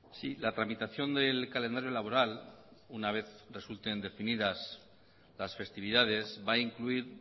sí la tramitación del calendario laboral una vez resulten definidas las festividades va a incluir